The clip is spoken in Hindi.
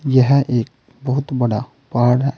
यह एक बहुत बड़ा पहाड़ है।